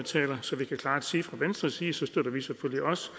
så vi kan klart sige fra venstres side selvfølgelig også